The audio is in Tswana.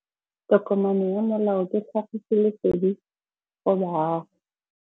Tokomane ya molao ke tlhagisi lesedi go baagi.